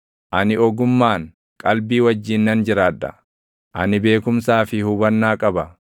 “Ani ogummaan, qalbii wajjin nan jiraadha; ani beekumsaa fi hubannaa qaba.